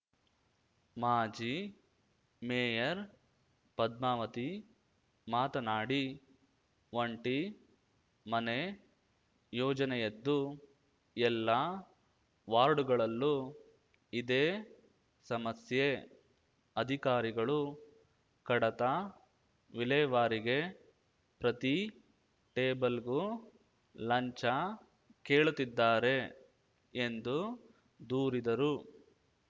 ಮಾಜಿ ಮೇಯರ್‌ ಪದ್ಮಾವತಿ ಮಾತನಾಡಿ ಒಂಟಿ ಮನೆ ಯೋಜನೆಯದ್ದು ಎಲ್ಲಾ ವಾರ್ಡುಗಳಲ್ಲೂ ಇದೇ ಸಮಸ್ಯೆ ಅಧಿಕಾರಿಗಳು ಕಡತ ವಿಲೇವಾರಿಗೆ ಪ್ರತಿ ಟೇಬಲ್‌ಗೂ ಲಂಚ ಕೇಳುತ್ತಿದ್ದಾರೆ ಎಂದು ದೂರಿದರು